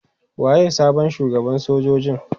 Waye sabon shugaban sojojin?